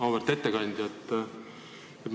Auväärt ettekandja!